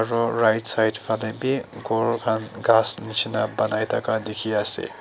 ro right side falae bi ghor khan ghas nishina banai thaka dikhiase.